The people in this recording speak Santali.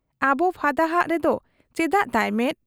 ᱟᱵᱚ ᱯᱷᱟᱫᱟ ᱦᱟᱜ ᱨᱮᱫᱚ ᱪᱮᱫᱟᱜ ᱛᱟᱭ ᱢᱮᱫ ?